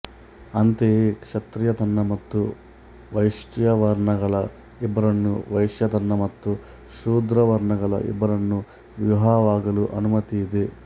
ಅಂತೆಯೇ ಕ್ಷತ್ರಿಯ ತನ್ನ ಮತ್ತು ವೈಶ್ಯವರ್ಣಗಳ ಇಬ್ಬರನ್ನೂ ವೈಶ್ಯ ತನ್ನ ಮತ್ತು ಶೂದ್ರವರ್ಣಗಳ ಇಬ್ಬರನ್ನೂ ವಿವಾಹವಾಗಲು ಅನುಮತಿ ಇದೆ